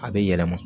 A bɛ yɛlɛma